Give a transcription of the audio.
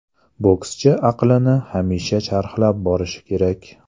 Bokschi aqlini hamisha charxlab borishi kerak.